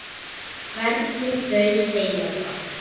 Hvernig þau segja það.